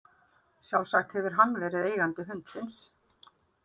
Sjálfsagt hefur hann verið eigandi hundsins.